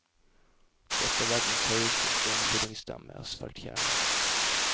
Dette er verdens høyeste steinfyllingsdam med asfaltkjerne.